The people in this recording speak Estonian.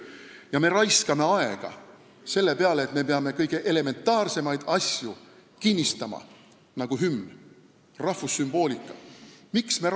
Ja me raiskame aega selle peale, et me peame kinnistama kõige elementaarsemaid asju, nagu rahvussümboolika, sh hümn.